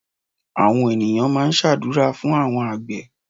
Àwọn ènìyàn máa ń ṣàdúúrà fún àwọn àgbẹ̀